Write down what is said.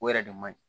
O yɛrɛ de man ɲi